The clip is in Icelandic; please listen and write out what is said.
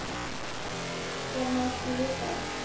Þér líkar nú ekki við það?